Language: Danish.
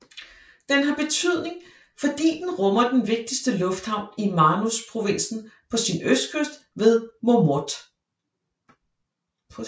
Den har betydning fordi den rummer den vigtigste lufthavn i Manus provinsen på sin østkyst ved Momote